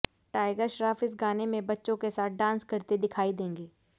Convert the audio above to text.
tiger Shroff इस गाने में बच्चों के साथ डांस करते दिखाई देंगे